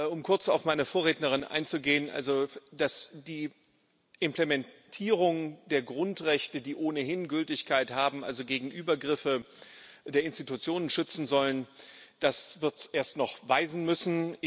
Um kurz auf meine Vorrednerin einzugehen Also, dass die Implementierung der Grundrechte die ohnehin Gültigkeit haben gegen Übergriffe der Institutionen schützen soll, das wird es erst noch weisen müssen.